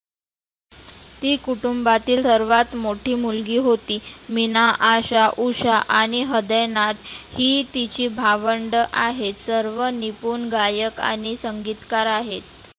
ती कुटुंबातील सर्वात मोठी मुलगी होती. मीना, आशा, उषा, आणि हृदयनाथ ही तिची भावंड आहेत. सर्व निपुन गायक आणि संगितकार आहेत.